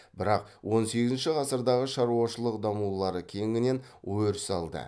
бірақ он сегізінші ғасырдағы шаруашылық дамулары кеңінен өріс алды